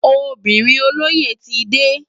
Óbirin ólóyé ti dé